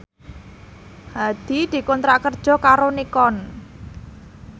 Hadi dikontrak kerja karo Nikon